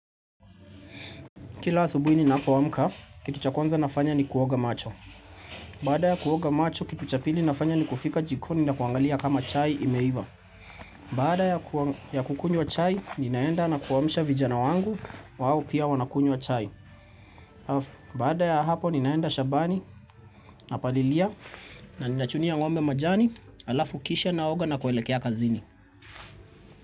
Kila asubuhi ni napo amka, kitu cha kwanza nafanya ni kuoga macho. Baada ya kuoga macho, kitu cha pili nafanya ni kufika jikoni na kuangalia kama chai imeiva. Baada ya kukunywa chai, ninaenda na kuwamisha vijana wangu, wao pia wanakunywa chai. Baada ya hapo, ninaenda shabani, na palilia, na ninachunia ng'ombe majani, alafu kisha naoga na kuelekea kazini.